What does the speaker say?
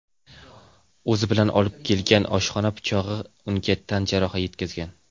o‘zi bilan olib kelgan oshxona pichog‘i bilan unga tan jarohati yetkazgan.